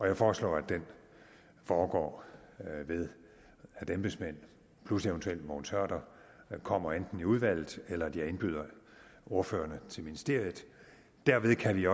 jeg foreslår at den foregår ved at embedsmænd plus eventuelt mogens hørder kommer enten i udvalget eller at jeg indbyder ordførerne til ministeriet derved kan vi